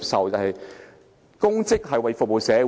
擔任公職是服務社會。